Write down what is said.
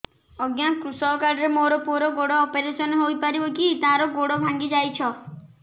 ଅଜ୍ଞା କୃଷକ କାର୍ଡ ରେ ମୋର ପୁଅର ଗୋଡ ଅପେରସନ ହୋଇପାରିବ କି ତାର ଗୋଡ ଭାଙ୍ଗି ଯାଇଛ